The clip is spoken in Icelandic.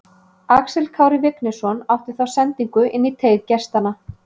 Axel Kári Vignisson átti þá sendingu inn í teig gestanna.